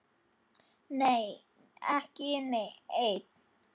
Nei, ekki enn.